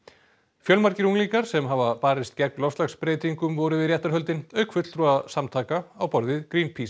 fjölmargir unglingar sem hafa barist gegn loftslagsbreytingum voru við réttarhöldin auk fulltrúa samtaka á borð við